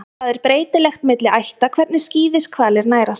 Það er breytilegt milli ætta hvernig skíðishvalir nærast.